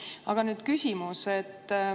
Ent nüüd küsimus.